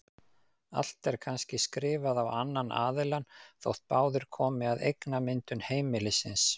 Allt er kannski skrifað á annan aðilann þótt báðir komi að eignamyndun heimilisins.